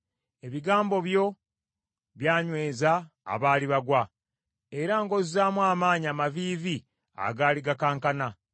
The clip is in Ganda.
Ebigambo byo byanyweza abaali bagwa, era ng’ozzaamu amaanyi amaviivi agaali gakankana.